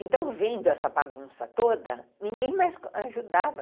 Então, vendo essa bagunça toda, ninguém mais ajudava.